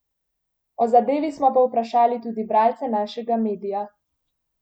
O zadevi smo povprašali tudi bralce našega medija.